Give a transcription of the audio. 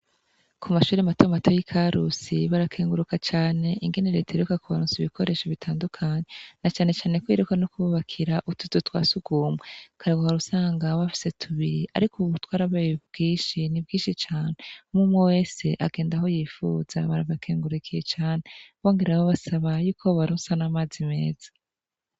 Ku mashuri mato mato y'i Karusi, barakenguruka cane ingene leta iheruka kubaronsa ibikoresho bitandukanye, na canecane kwihuta no kububakira utuzu twa surwumwe. Kare wahora usanga bafise tubiri, ariko ubu twarabaye twinshi. Nibwishi cane umwe umwe wese agenda aho yifuza. Barabakengurukiye cane, bongera basaba y'uko bobaronsa amazi meza.